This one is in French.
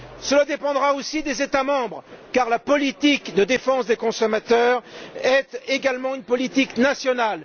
Cela dépendra aussi des États membres, car la politique de défense des consommateurs est également une politique nationale.